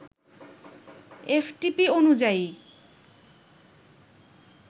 FTP অনুযায়ী